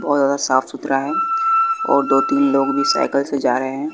बहोत ज्यादा साफ सुथरा है और दो तीन लोग भी साइकल से जा रहे हैं।